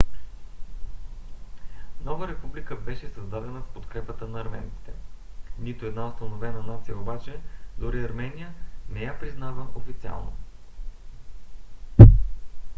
нова република беше създадена с подкрепата на арменците. нито една установена нация обаче - дори армения - не я признава официално